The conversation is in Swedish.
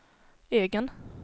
egen